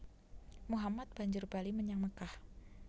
Muhammad banjur bali menyang Mekkah